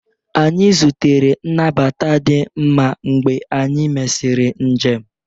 Anyị zutere nnabata di mma mgbe anyị mesịrị njem